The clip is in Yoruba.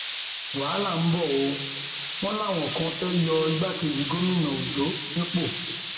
wàhálà ń bọ ọ wọn láwọn kan fẹẹ yọ igbákejì gómìnà ondo nípò